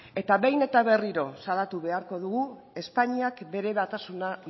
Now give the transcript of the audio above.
eta behin eta berriro salatu beharko dugu espainiak bere batasuna